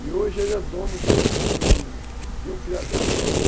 E hoje ele é dono de um de um criador.